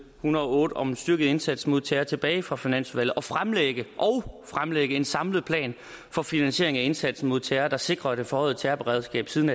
hundrede og otte om styrket indsats mod terror tilbage fra finansudvalget og fremlægge fremlægge en samlet plan for finansieringen af indsatsen mod terror der sikrer at det forhøjede terrorberedskab siden